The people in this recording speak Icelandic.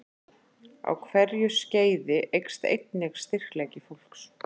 Á hverju skeiði eykst einnig styrkleiki fólks.